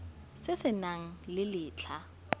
se se nang le letlha